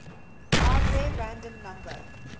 hardware random number